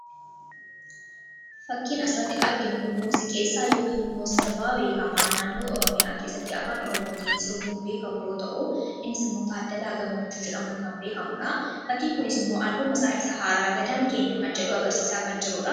fakkiin asratti arginu kun muuziqeessaa yookiin immoo sirbaa beekamaa naannoo oroomiyaa keessatti afaan oromootiin sirbuun beekamu yoo ta'u innis immoota addalaa gammachuu jedhamuu kan beekamudha fakkiin kunis immoo alba masaa isa haaraa gadaan keenya kan jedhu agarsiisaa kan jiruudha